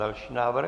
Další návrh.